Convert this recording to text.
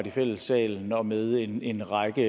i fællessalen og med en en række